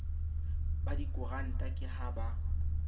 ba dikoranta ke ha ba